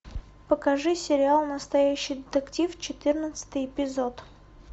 покажи сериал настоящий детектив четырнадцатый эпизод